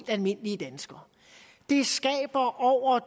almindelige danskere det skaber over